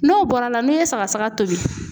N'o bɔr'a la n'i ye sagasaga tobi